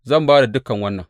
Zan ba da dukan wannan.